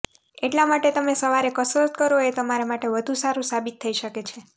એટલા માટે તમે સવારે કસરત કરો એ તમારા માટે વધુ સારું સાબિત થઇ શકે છે